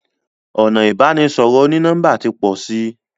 ọnà ibanisọrọ oni-nọmba tí pọ nisin.